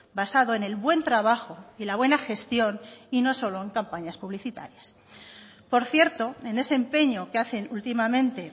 basado en el buen trabajo y la buena gestión y no solo en campañas publicitarias por cierto en ese empeño que hacen últimamente